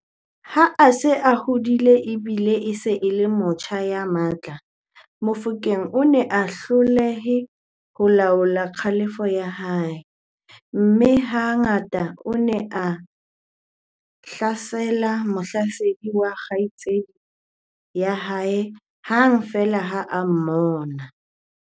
Ha a se a hodile e bile e se e le motjha ya matla, Mofokeng o ne a hloleha ho laola kgalefo ya hae, mme ha ngata o ne a hlasela mohlasedi wa kgaitsedi ya hae hang feela ha a mmona.